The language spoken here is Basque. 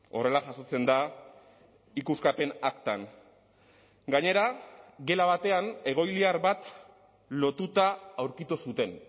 horrela jasotzen da ikuskapen aktan gainera gela batean egoiliar bat lotuta aurkitu zuten